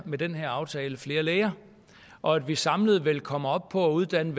med den her aftale uddanner flere læger og at vi samlet vil komme op på at uddanne